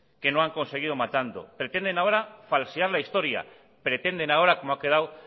que no han conseguido matando pretenden ahora falsear la historia pretenden ahora como ha quedado